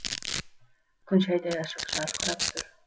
күн шәйдай ашық жарқырап тұр